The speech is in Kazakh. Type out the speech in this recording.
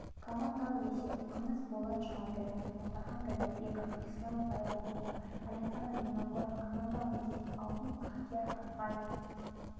командалық есеп күміс болат жұмаділов мұхтархан ділдәбеков ислам байрамуков александр винокуров командалық есеп алтын бақтияр артаев